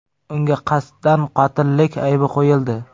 Unga qasddan qotillik aybi qo‘yildi.